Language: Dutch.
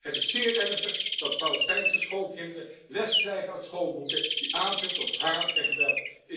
Het is zeer ernstig dat Palestijnse schoolkinderen les krijgen uit schoolboeken die aanzetten tot haat en geweld.